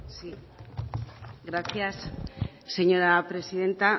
sí gracias señora presidenta